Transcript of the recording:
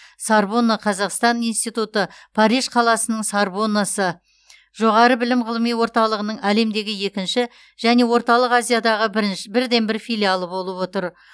сорбонна қазақстан институты париж қаласының сорбоннасы жоғары білім ғылыми орталығының әлемдегі екінші және орталық азиядағы бірден бір филиалы болып отыр